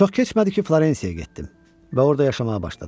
Çox keçmədi ki, Florensiyaya getdim və orda yaşamağa başladım.